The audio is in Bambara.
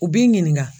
U b'i ɲininka